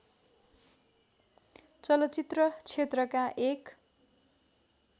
चलचित्र क्षेत्रका एक